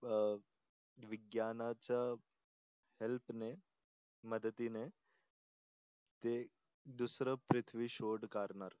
अं विज्ञानाच्या हेल्पने मदतीने ते दुसर पृथ्वी शोध करणार.